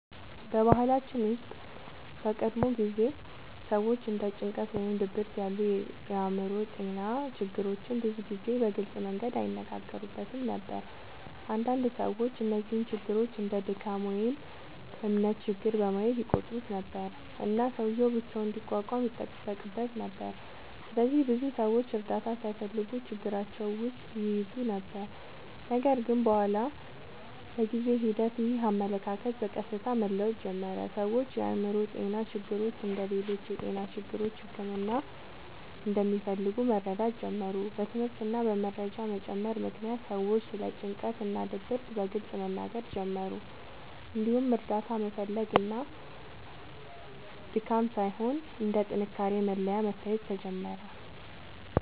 በባህላችን ውስጥ በቀድሞ ጊዜ ሰዎች እንደ ጭንቀት ወይም ድብርት ያሉ የአእምሮ ጤና ችግሮችን ብዙ ጊዜ በግልጽ መንገድ አይነጋገሩበትም ነበር። አንዳንድ ሰዎች እነዚህን ችግሮች እንደ “ድካም” ወይም “እምነት ችግር” በማለት ይቆጥሩ ነበር፣ እና ሰውዬው ብቻውን እንዲቋቋም ይጠበቅበት ነበር። ስለዚህ ብዙ ሰዎች እርዳታ ሳይፈልጉ ችግራቸውን ውስጥ ይይዙ ነበር። ነገር ግን በኋላ በጊዜ ሂደት ይህ አመለካከት በቀስታ መለወጥ ጀመረ። ሰዎች የአእምሮ ጤና ችግሮች እንደ ሌሎች የጤና ችግሮች ሕክምና እንደሚፈልጉ መረዳት ጀመሩ። በትምህርት እና በመረጃ መጨመር ምክንያት ሰዎች ስለ ጭንቀት እና ድብርት በግልጽ መናገር ጀመሩ፣ እንዲሁም እርዳታ መፈለግ እንደ ድካም ሳይሆን እንደ ጥንካሬ መለያ መታየት ጀመረ።